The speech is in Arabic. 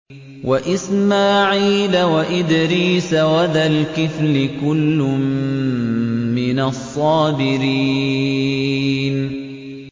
وَإِسْمَاعِيلَ وَإِدْرِيسَ وَذَا الْكِفْلِ ۖ كُلٌّ مِّنَ الصَّابِرِينَ